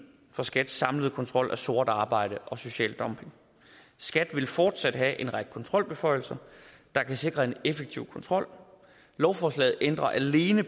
for skats samlede kontrol af sort arbejde og social dumping skat vil fortsat have en række kontrolbeføjelser der kan sikre en effektiv kontrol lovforslaget ændrer alene